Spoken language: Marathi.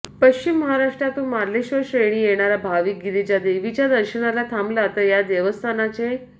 पश्चिम महाराष्ट्रातून मार्लेश्वर क्षेत्री येणारा भाविक गिरिजा देवीच्या दर्शनाला थांबला तर या देवस्थानचे